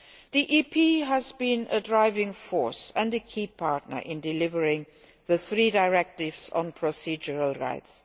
rights. The European Parliament has been a driving force and a key partner in delivering the three directives on procedural